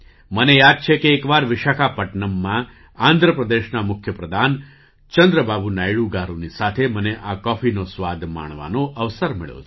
મને યાદ છે કે એક વાર વિશાખાપટનમ્ મા આંધ્ર પ્રદેશના મુખ્ય પ્રધાન ચંદ્રબાબુ નાયડુ ગારુની સાથે મને આ કૉફીનો સ્વાદ માણવાનો અવસર મળ્યો છે